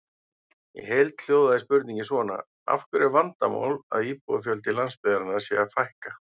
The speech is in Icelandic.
Í heild hljóðaði spurningin svona: Af hverju er vandamál að íbúafjölda landsbyggðarinnar sé að fækka?